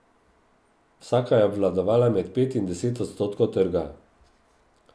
Vsaka je obvladovala med pet in deset odstotkov trga.